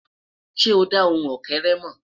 sọ dà ohùn ókéré mọ?